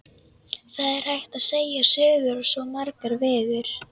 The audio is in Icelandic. Það er hægt að segja sögur á svo marga vegu.